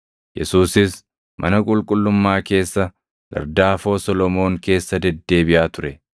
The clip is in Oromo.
Yesuusis mana qulqullummaa keessa gardaafoo Solomoon keessa deddeebiʼaa ture.